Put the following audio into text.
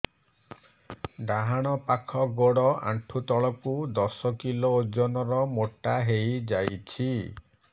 ଡାହାଣ ପାଖ ଗୋଡ଼ ଆଣ୍ଠୁ ତଳକୁ ଦଶ କିଲ ଓଜନ ର ମୋଟା ହେଇଯାଇଛି